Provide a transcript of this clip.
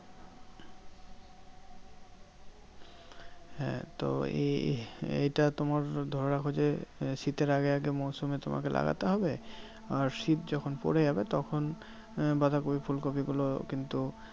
হ্যাঁ তো এই~ এইটা তোমার ধরে রাখো যে, শীতের আগে আগে মরসুম তোমাকে লাগাতে হবে। আর শীত যখন পরে যাবে তখন বাঁধাকপি ফুলকপি গুলো কিন্তু